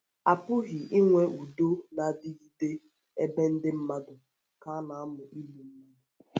A pụghị inwe udo na - adịgide adịgide ebe ndị mmadụ ka na - amụ igbu mmadụ.